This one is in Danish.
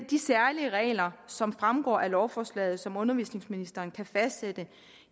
de særlige regler som fremgår af lovforslaget og som undervisningsministeren kan fastsætte